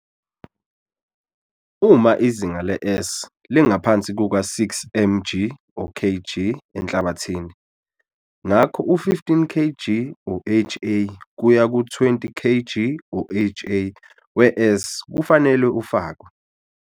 Uma izinga le-S lingaphansi kuka-6 mg or kg enhlabathini, ngakho u-15 kg or ha kuya ku-20 kg or ha we-S kufanele ufakwe.